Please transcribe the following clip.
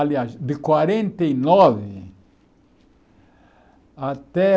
Aliás, de quarenta e nove até